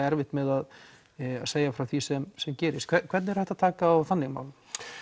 erfitt með að segja frá því sem sem gerist hvernig er hægt að taka á þannig málum